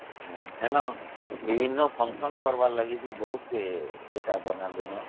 ହଁବିଭିନ୍ନ function କରିବାର ଲାଗି ବହୁତ important ଦିନ